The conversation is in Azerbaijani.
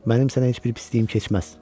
Mənim sənə heç bir pisliyim keçməz.